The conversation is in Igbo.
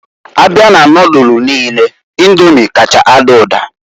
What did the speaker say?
Abịa na nodulu niine Indomi kacha ada ụda.